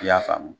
I y'a faamu